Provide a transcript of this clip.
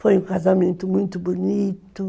Foi um casamento muito bonito.